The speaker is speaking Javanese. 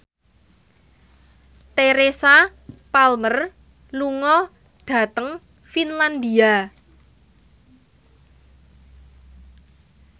Teresa Palmer lunga dhateng Finlandia